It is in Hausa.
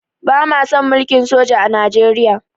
Ba ma son mulkin soja a Nijeriya